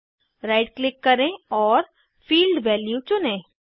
right click करें और field value चुनें